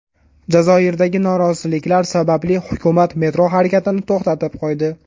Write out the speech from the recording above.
Jazoirdagi noroziliklar sababli hukumat metro harakatini to‘xtatib qo‘ydi.